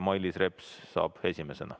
Mailis Reps saab esimesena sõna.